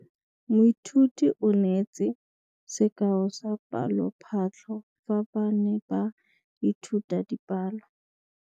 Moithuti o neetse sekaô sa palophatlo fa ba ne ba ithuta dipalo.